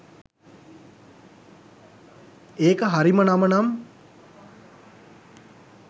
ඒක හරිම නම නම්